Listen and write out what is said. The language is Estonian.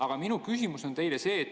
Aga minu küsimus on see.